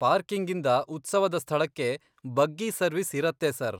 ಪಾರ್ಕಿಂಗಿಂದ ಉತ್ಸವದ ಸ್ಥಳಕ್ಕೆ buggy service ಇರತ್ತೆ ಸರ್.